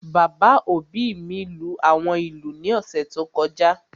Bàbá òbí mi lú àwọn ìlú ní ọ̀sẹ̀ tó kọjá